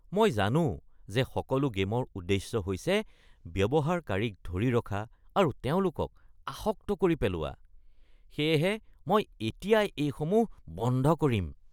মই জানো যে সকলো গে'মৰ উদ্দেশ্য হৈছে ব্যৱহাৰকাৰীক ধৰি ৰখা আৰু তেওঁলোকক আসক্ত কৰি পেলোৱা, সেয়েহে মই এতিয়াই এইসমূহ বন্ধ কৰিম (জেনেৰেশ্যন জেড ২)